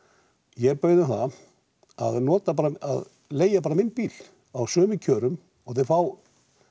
ég bauð þeim það að að leigja bara minn bíl á sömu kjörum og þau fá